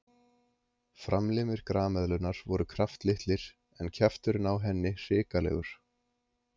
Framlimir grameðlunnar voru kraftlitlir en kjafturinn á henni hrikalegur.